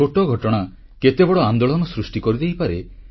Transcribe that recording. ଛୋଟ ଘଟଣା କେତେ ବଡ଼ ଆନ୍ଦୋଳନ ସୃଷ୍ଟି କରିଦେଇପାରେ